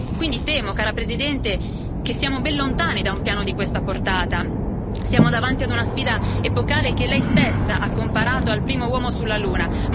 Quindi temo, cara Presidente, che stiamo ben lontani da un piano di questa portata, siamo davanti a una sfida epocale che lei stessa ha comparato al primo uomo sulla Luna.